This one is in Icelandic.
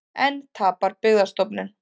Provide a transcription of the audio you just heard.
Enn tapar Byggðastofnun